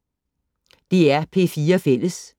DR P4 Fælles